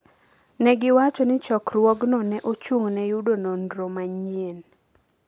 Ne giwacho ni chokruogno ne ochung’ne yudo nonro manyien